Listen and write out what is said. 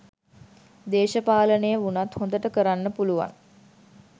දේශපාලනය වුණත් හොඳට කරන්න පුළුවන්